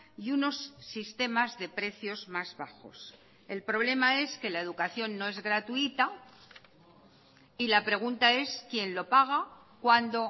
y unos sistemas de precios más bajos el problema es que la educación no es gratuita y la pregunta es quién lo paga cuándo